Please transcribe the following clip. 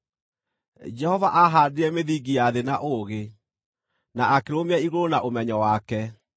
Jehova aahandire mĩthingi ya thĩ na ũũgĩ, na akĩrũmia igũrũ na ũmenyo wake;